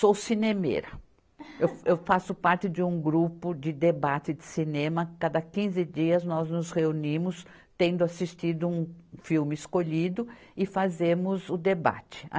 Sou cinemeira, eu fa, eu faço parte de um grupo de debate de cinema, cada quinze dias nós nos reunimos tendo assistido um filme escolhido e fazemos o debate.